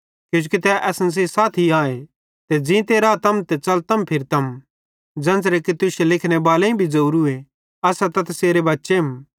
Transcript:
किजोकि तै असन सेइं साथी आए ते ज़ींते रातम ते च़लतम फिरतम ज़ेन्च़रे कि तुश्शे लिखने बालेईं भी ज़ोरूए असां त तैसेरे बच्चेम